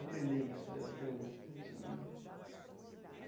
Aprender isso dela até hoje, assim, né?